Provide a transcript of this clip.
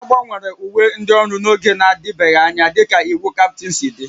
A gbanwere uwe ndị ọrụ n'oge na-adịbeghị anya dịka iwu Captain si dị